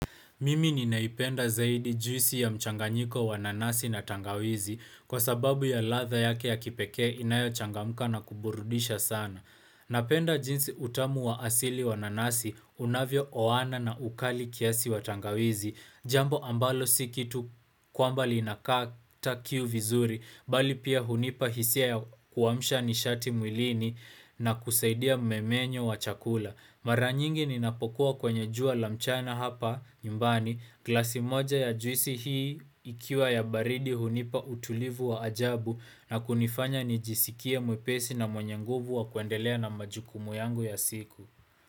Mimi ninaipenda zaidi juisi ya mchanganyiko wananasi na tangawizi kwa sababu ya latha yake ya kipekee inayo changamuka na kuburudisha sana. Napenda jinsi utamu wa asili wananasi unavyo oana na ukali kiasi wa tangawizi. Jambo ambalo sikitu kwamba linakata kiu vizuri, bali pia hunipa hisia ya kuwamsha nishati mwilini na kusaidia mmemenyo wa chakula. Mara nyingi ninapokuwa kwenye jua lamchana hapa, nyumbani, klasi moja ya juisi hii ikiwa ya baridi hunipa utulivu wa ajabu na kunifanya nijisikie mwepesi na mwanye nguvu wa kuendelea na majukumu yangu ya siku.